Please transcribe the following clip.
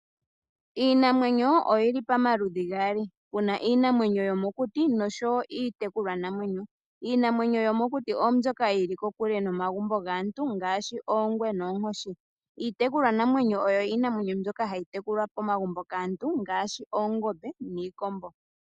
Iinamwenyo oyi li pamaludhi gaali. Opu na iinamwenyo yomokuti noshowo iitekulwanamwenyo. Iinamwenyo yomokuti oyo mbyoka yi li kokule nomagumbo gaantu ngaashi oongwe noonkoshi. Iitekulwanamwenyo oyo iinamwenyo mbyoka hayi tekulwa momagumbo kaantu ngaashi oongombe niikombo.